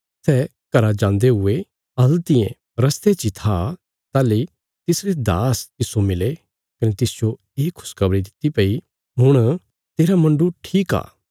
सै घरा जान्दे हुये हल्तियें रस्ते ची था ताहली तिसरे दास तिस्सो मिले कने तिसजो ये खुशखबरी दित्ति भई हुण तेरा मुण्डु ठीक आ